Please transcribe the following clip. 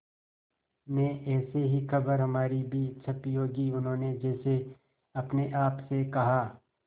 में ऐसी ही खबर हमारी भी छपी होगी उन्होंने जैसे अपने आप से कहा